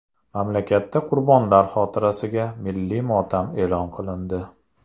Mamlakatda qurbonlar xotirasiga milliy motam e’lon qilindi .